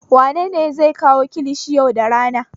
Wane ne zai kawo kilishin yau da rana?